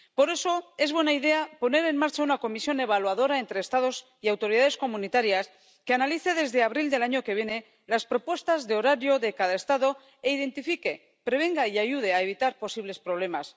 Por eso, es buena idea poner en marcha una comisión evaluadora entre Estados y autoridades comunitarias que analice, desde abril del año que viene, las propuestas de horario de cada Estado e identifique, prevenga y ayude a evitar posibles problemas.